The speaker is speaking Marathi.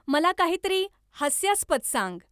मला काहीतरी हास्यास्पद सांग